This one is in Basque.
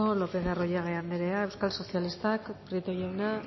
lopez de arroyabe andrea euskal sozialistak prieto jauna